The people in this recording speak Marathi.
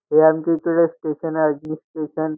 हे आमच्या इथं स्टेशन आहे जे स्टेशन --